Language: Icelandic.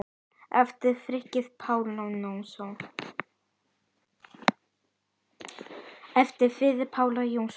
eftir Friðrik Pál Jónsson